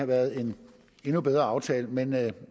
været en endnu bedre aftale men